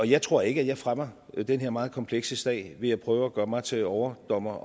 jeg tror ikke at jeg fremmer den her meget komplekse sag ved at prøve at gøre mig til overdommer